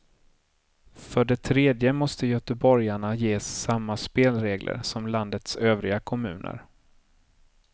För det tredje måste göteborgarna ges samma spelregler som landets övriga kommuner.